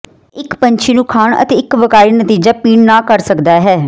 ਇੱਕ ਪੰਛੀ ਨੂੰ ਖਾਣ ਅਤੇ ਇੱਕ ਵੱਕਾਰੀ ਨਤੀਜਾ ਪੀਣ ਨਾ ਕਰ ਸਕਦਾ ਹੈ